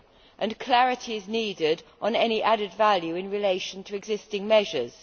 and clarity is needed on any added value in relation to existing measures.